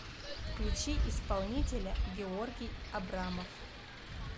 включи исполнителя георгий абрамов